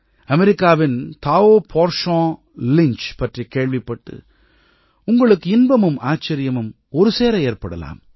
அமெரிக்காவின் டாவ் போர்ச்சோன்லிஞ்ச் பற்றிக் கேள்விப்பட்டு உங்களுக்கு இன்பமும் ஆச்சரியமும் ஒருசேர ஏற்படலாம்